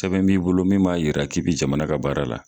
Sɛbɛn b'i bolo min b'a yira k'i bi jamana ka baara la